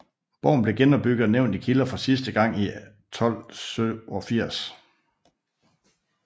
Borgen blev genopbygget og nævnt i kilder for sidste gang i 1287